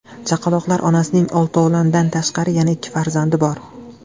Chaqaloqlar onasining oltovlondan tashqari yana ikki nafar farzandi bor.